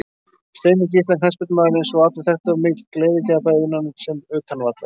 Steini Gísla knattspyrnumaður eins og allir þekktu var mikill gleðigjafi bæði innan sem utan vallar.